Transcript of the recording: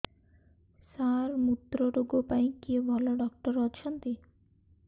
ସାର ମୁତ୍ରରୋଗ ପାଇଁ କିଏ ଭଲ ଡକ୍ଟର ଅଛନ୍ତି